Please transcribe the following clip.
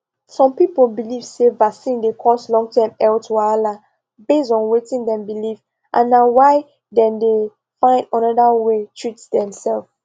some people believe say vaccine dey cause longterm health wahala based on wetin dem believe and na why dem dey find another way treat themselves